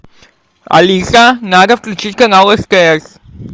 алиса надо включить канал стс